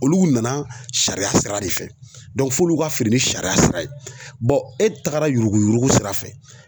Olu nana sariya sira de fɛ, f'olu ka feere ni sariya sira ye.[ cs] e tagara yuruguyurugu sira fɛ